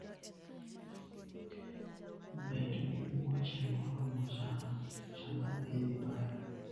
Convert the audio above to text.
Bed gi wuoche moromo sama idhi bayo.